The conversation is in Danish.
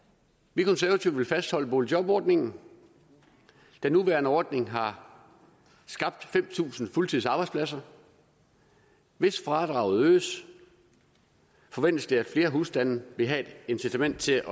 vi konservative vil fastholde boligjobordningen den nuværende ordning har skabt fem tusind fuldtidsarbejdspladser hvis fradraget øges forventes det at flere husstande vil have et incitament til at